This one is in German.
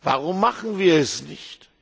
Warum machen wir es nicht?